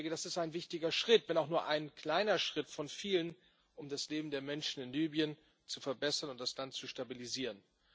Das ist ein wichtiger Schritt, wenn auch nur ein kleiner Schritt von vielen, um das Leben der Menschen in Libyen zu verbessern und das Land zu stabilisieren.